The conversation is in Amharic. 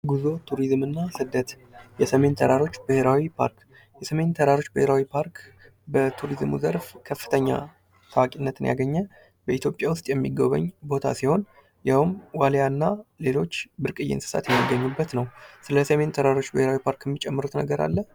ጉዞ ቱሪዝም እና ስደት የሰሜን ተራሮች ብሔራዊ ፓርክ። የስሜን ተራሮች ብሔራዊ ፓርክ በቱሪዝሙ ዘርፍ ከፍተኛ ታዋቂነትን ያገኘ ኢትዮጵያ ውስጥ የሚጎበኝ ቦታ ሲሆን ይኸውም ዋልያ እና ሌሎች ብርቅዬ እንስሳት የሚገኙበት ነው። ስለ ሰሜን ተራሮች ብሔራዊ ፓርክ የምትጨምሩት ነገር አለ?